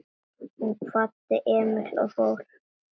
Hún kvaddi Emil og fór.